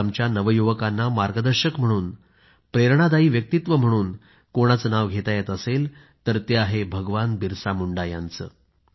आज आमच्या नवयुवकांना मार्गदर्शक म्हणून प्रेरणादायी व्यक्तित्व म्हणून कोणाचे नाव घेता येईल तर ते आहे भगवान बिरसा मुंडा यांचं